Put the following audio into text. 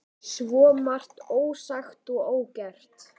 Svo margt ósagt og ógert.